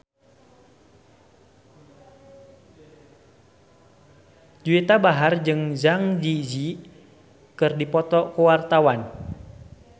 Juwita Bahar jeung Zang Zi Yi keur dipoto ku wartawan